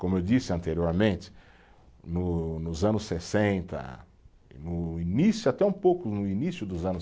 Como eu disse anteriormente, no nos anos sessenta, no início, até um pouco no início dos anos